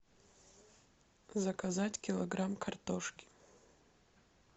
заказать килограмм картошки